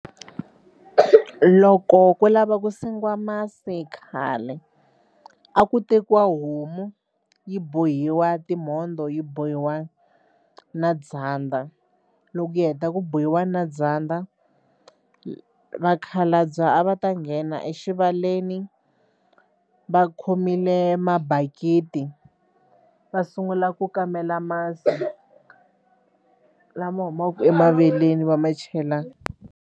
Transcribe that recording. Loko ku lava ku sengiwa masi khale a ku tekiwa homu yi bohiwa timhondzo yi bohiwa na dzandza loko hi heta ku bohiwa na dzandza vakhalabya a va ta nghena exivaleni va khomile mabakiti va sungula ku kamela masi lama humaka emaveleni va ma chela.